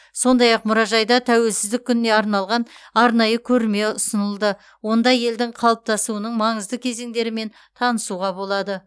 сондай ақ мұражайда тәуелсіздік күніне арналған арнайы көрме ұсынылды онда елдің қалыптасуының маңызды кезеңдерімен танысуға болады